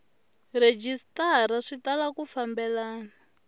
rhejisitara swi tala ku fambelana